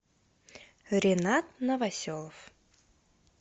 ринат новоселов